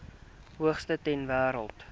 hoogste ter wêreld